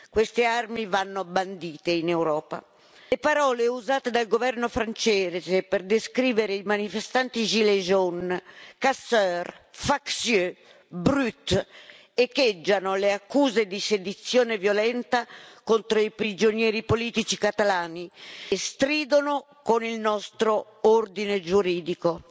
Queste armi vanno bandite in Europa. Le parole usate dal governo francese per descrivere i manifestanti gilets jaunes casseurs factieux brutes echeggiano le accuse di sedizione violenta contro i prigionieri politici catalani e stridono con il nostro ordine giuridico.